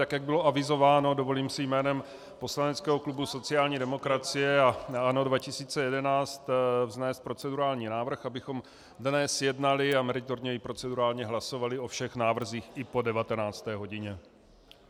Tak jak bylo avizováno, dovolím si jménem poslaneckého klubu sociální demokracie a ANO 2011 vznést procedurální návrh, abychom dnes jednali a meritorně i procedurálně hlasovali o všech návrzích i po 19. hodině.